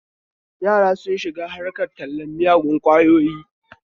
Yara sun shiga harkar tallen miyagun ƙwayoyi